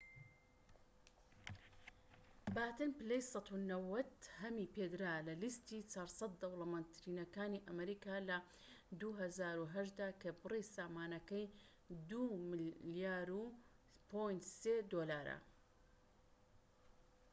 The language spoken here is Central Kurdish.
باتن پلەی ١٩٠هەمی پێدرا لە لیستی ٤٠٠ دەوڵەمەندترینەکانی ئەمریکا لە ٢٠٠٨ دا کە بری سامانەکەی ٢.٣ ملیار دۆلارە